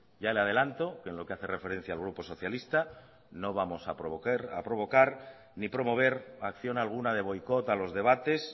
ya le adelanto que en lo que hace referencia al grupo socialista no vamos a provocar ni promover acción alguna de boicot a los debates